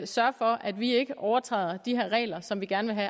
sørge for at vi ikke overtræder de her regler som vi gerne vil